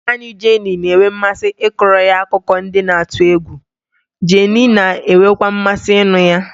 Nna nna Jenny na-enwe mmasị ịkọrọ ya akụkọ ndị na-atụ egwu, Jenny na-enwekwa mmasị ịnụ ha.